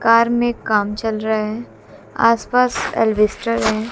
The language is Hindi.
कार में काम चल रहा है आस पास एल्बेस्टर है।